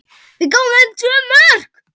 Við gáfum þeim tvö mörk.